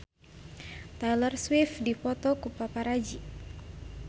Taylor Swift dipoto ku paparazi